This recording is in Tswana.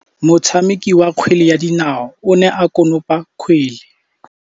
Motshameki wa kgwele ya dinaô o ne a konopa kgwele.